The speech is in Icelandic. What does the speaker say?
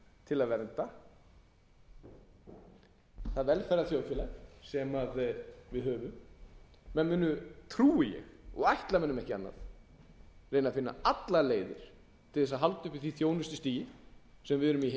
til að vernda það velferðarþjóðfélag sem við höfum menn muni trúi ég og ætla mönnum ekki annað reyna að finna allar leiðir til að halda uppi því þjónustustigi sem við höfum